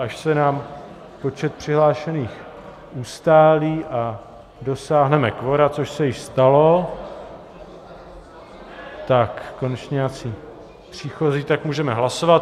Až se nám počet přihlášených ustálí a dosáhneme kvora, což se již stalo - konečně nějací příchozí, tak můžeme hlasovat.